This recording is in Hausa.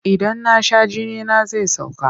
Idan na sha jinina zai sauka.